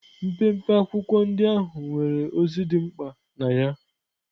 Mpempe akwụkwọ ndị ahụ nwere ozi dị mkpa na ya.